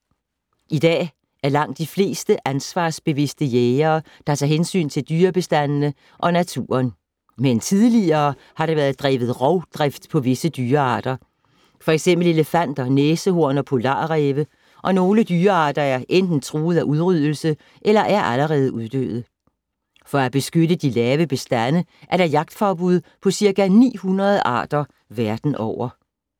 I dag er langt de fleste ansvarsbevidste jægere, der tager hensyn til dyrebestandene og naturen. Men tidligere har der været drevet rovdrift på visse dyrearter, f.eks. elefanter, næsehorn og polarræve, og nogle dyrearter er enten truet af udryddelse eller er allerede uddøde. For at beskytte de lave bestande, er der jagtforbud på ca. 900 arter verden over.